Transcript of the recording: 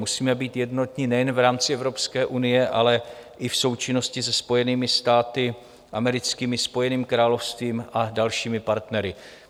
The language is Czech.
Musíme být jednotní nejen v rámci Evropské unie, ale i v součinnosti se Spojenými státy americkými, Spojeným královstvím a dalšími partnery.